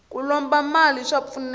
ku lomba mali swa pfuneta